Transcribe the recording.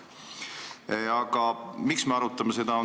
Aga miks me seda arutame?